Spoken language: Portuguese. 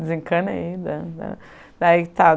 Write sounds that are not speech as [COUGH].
Desencanei [UNINTELLIGIBLE]